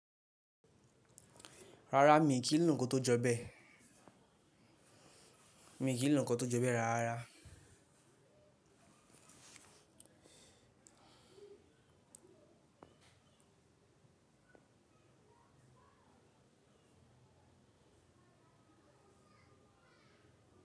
Rárá, mi kìí lò kàn tó jọ bẹ. Mi kì í lònàkò tó jọ bẹ rárá.